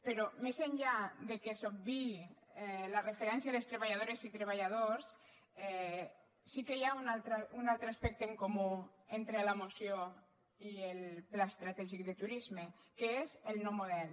però més enllà que s’obviï la referència a les treballadores i treballadors sí que hi ha un altre aspecte en comú entre la moció i el pla estratègic de turisme que és el no model